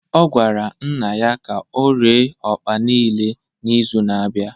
ọ gwara nna ya ka ọ ree akpu niile n’izu na-abịa